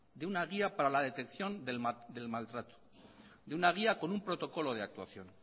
de una guía para la detección del maltrato de una guía con un protocolo de actuación